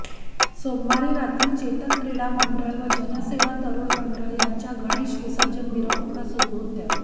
सोमवारी रात्री चेतक क्रीडा मंडळ व जनसेवा तरुण मंडळ यांच्या गणेश विसर्जन मिरवणुका सुरू होत्या